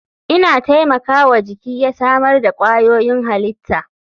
Ina taimaka wa jiki ya samar da kwayoyin halitta.